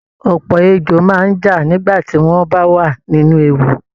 Ọ̀pọ̀ ejò máa ń já nígbà tí wọ́n bá wà nínú ewu